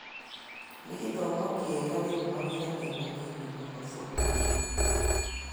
Nĩ gĩthomo kĩega rĩu mawĩra me manini mũno bũrũri -inĩ